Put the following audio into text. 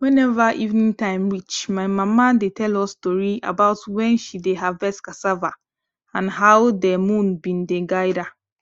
whenever evening time reach my mama dey tell us tori about when she dey harvest cassava and how de moon been dey guide her